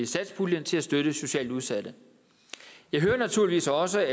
satspuljen til at støtte socialt udsatte jeg hører naturligvis også